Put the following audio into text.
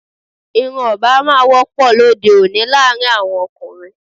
Irun Obama wọ́pọ̀ lóde òní láàrin àwọn ọkùnrin